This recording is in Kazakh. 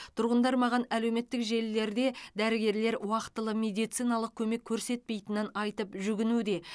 тұрғындар маған әлеуметтік желілерде дәрігерлер уақтылы медициналық көмек көрсетпейтінін айтып жүгінуде